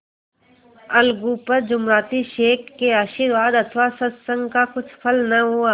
अलगू पर जुमराती शेख के आशीर्वाद अथवा सत्संग का कुछ फल न हुआ